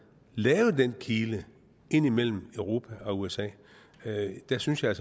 lave den kile ind imellem europa og usa der synes jeg